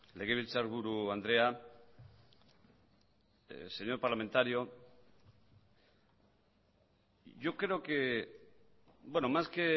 legebiltzarburu andrea señor parlamentario yo creo que más que